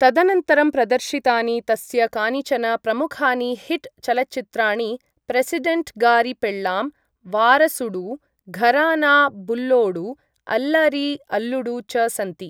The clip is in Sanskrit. तदनन्तरं प्रदर्शितानि तस्य कानिचन प्रमुखानि हिट् चलच्चित्राणि प्रेसिडेण्ट् गारि पेळ्ळाम्, वारसुडु, घराना बुल्लोडु, अल्लरि अल्लुडु च सन्ति।